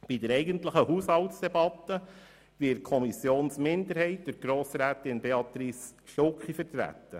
Bei der eigentlichen Haushaltsdebatte wird die Kommissionsminderheit durch Grossrätin Stucki vertreten.